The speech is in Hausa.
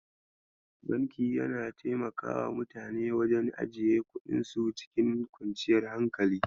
Banki yana taimakawa mutane wajen ajiye kuɗinsu cikin kwanciyar hankali.